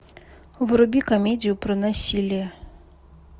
вруби комедию про насилие